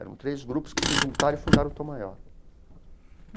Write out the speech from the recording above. Eram três grupos que se juntaram e fundaram o Tom Maior.